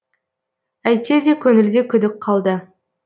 әйтсе де көңілде күдік қалды